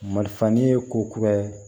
Mali fani ye ko kuraye